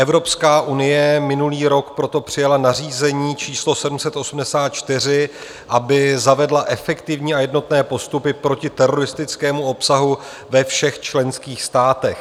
Evropská unie minulý rok proto přijala nařízení číslo 784, aby zavedla efektivní a jednotné postupy proti teroristickému obsahu ve všech členských státech.